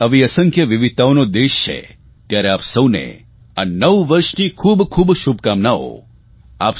ભારત આવી અસંખ્ય વિવિધતાઓનો દેશ છે ત્યારે આપ સૌને આ નવ વર્ષની ખૂબ ખૂબ શુભકામનાઓ